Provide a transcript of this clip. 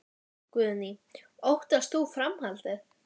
Guðný: Óttast þú framhaldið?